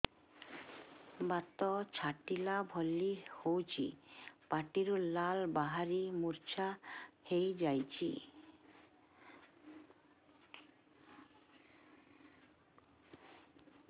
ବାତ ଛାଟିଲା ଭଳି ହଉଚି ପାଟିରୁ ଲାଳ ବାହାରି ମୁର୍ଚ୍ଛା ହେଇଯାଉଛି